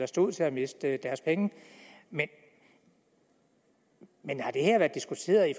stod til at miste deres penge men har det her været diskuteret i